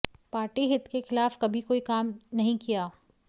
party हित के खिलाफ कभी कोई काम नही किया